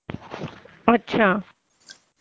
अच्छा